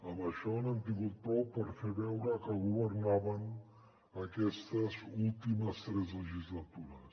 amb això n’han tingut prou per fer veure que governaven aquestes últimes tres legislatures